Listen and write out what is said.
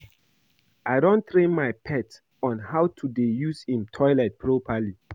I don train my pet on how to dey use im toilet properly